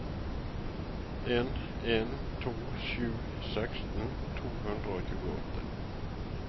en en to sju seksten to hundre og tjueåtte